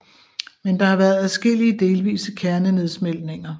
Men der har været adskillige delvise kernenedsmeltninger